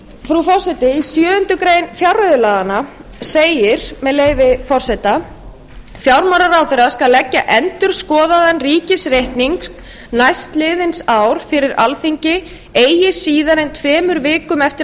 frú forseti í sjöundu grein fjárreiðulaganna segir með leyfi forseta fjármálaráðherra skal leggja endurskoðaðan ríkisreikning næstliðins árs fyrir alþingi eigi síðar en tveimur vikum eftir